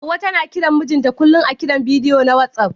Hauwa tana kiran mijinta kullum a Kiran bidiyo na WhatsApp.